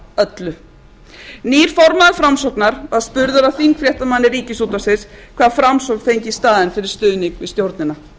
öllu nýr formaður framsóknar var spurður af þingfréttamanni ríkisútvarpsins hvað framsókn fengi í staðinn fyrir stuðning við stjórnina